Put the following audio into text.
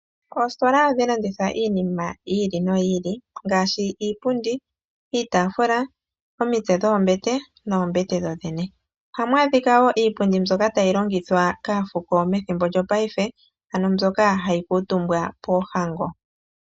Oositola ohadhi landitha iinima yi ili noyi ili ngaashi iipundi, iitafula, omitse dhoombete noombete dho dhene. Ohamu adhika woo iipundi mbyoka tayi longithwa kaafuko methimbo lyopaife ano mbyoka hayi kuutumbwa poohango.